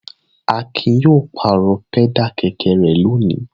Akin yóò pàrọ̀ pẹ́dà kẹ̀kẹ́ rẹ̀ lónìí.